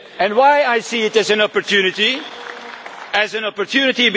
Why do I see it as an opportunity?